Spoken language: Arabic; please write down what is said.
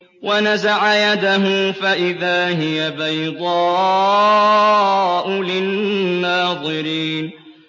وَنَزَعَ يَدَهُ فَإِذَا هِيَ بَيْضَاءُ لِلنَّاظِرِينَ